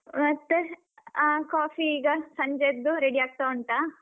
ಮತ್ತೆ ಅಹ್ coffee ಈಗ ಸಂಜೆದ್ದು ready ಆಗ್ತಾ ಉಂಟಾ?